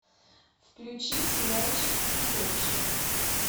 включи сериальчик усопшие